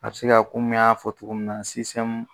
A bɛ se ka komi y'a fɔ cogo min na